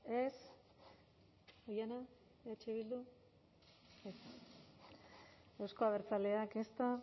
ez oihana eh bildu ez euzko abertzaleak